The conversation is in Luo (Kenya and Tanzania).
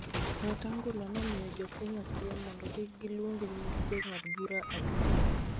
Wetang'ula nomiyo jo Kenya siem mondo kik giluong nying jong'ad bura abich go.